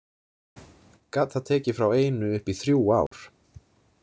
Gat það tekið frá einu upp í þrjú ár.